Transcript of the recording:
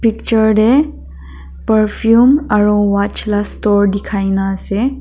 picture tae perfume aro watch la store dikhaina ase.